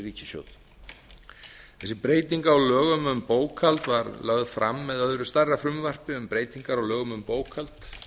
ríkissjóð þessi breyting á lögum um bókhald var lögð fram með öðru stærra frumvarpi með breytingar á lögum um bókhald